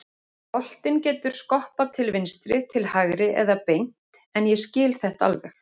Boltinn getur skoppað til vinstri, til hægri eða beint en ég skil þetta alveg.